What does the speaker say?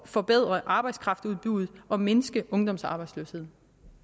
forbedre arbejdskraftudbuddet og mindske ungdomsarbejdsløsheden